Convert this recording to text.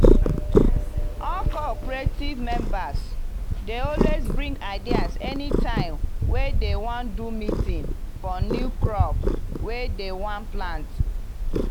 all cooperative members dey always bring ideas anytime wey dem wan do meeting for new crop wey dem wan plant.